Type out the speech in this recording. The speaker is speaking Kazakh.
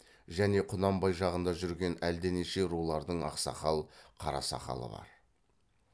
және құнанбай жағында жүрген әлденеше рулардың ақсақал қарасақалы бар